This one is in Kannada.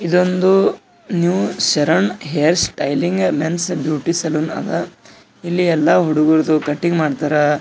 ಇದೊಂದು ನವ salon hairstyling men's beauty salon ಅದ ಇಲ್ಲಿ ಎಲ್ಲ ಹುಡುಗುರುದು ಕಟಿಂಗ್ ಮಾಡ್ತಾರಾ.